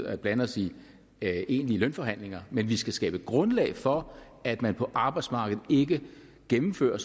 at blande os i egentlige lønforhandlinger men vi skal skabe grundlag for at man på arbejdsmarkedet ikke gennemfører